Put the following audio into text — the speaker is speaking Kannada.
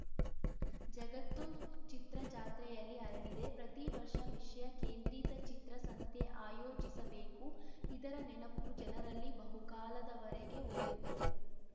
ಜಗತ್ತು ಚಿತ್ರ ಜಾತ್ರೆಯಲ್ಲಿ ಅರಳಿದೆ ಪ್ರತಿವರ್ಷ ವಿಷಯ ಕೇಂದ್ರಿತ ಚಿತ್ರಸಂತೆ ಆಯೋಜಿಸಬೇಕು ಇದರ ನೆನಪು ಜನರಲ್ಲಿ ಬಹುಕಾಲದವರೆಗೆ ಉಳಿಯುತ್ತದೆ